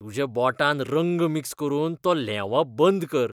तुज्या बोटान रंग मिक्स करून तो ल्हेंवप बंद कर.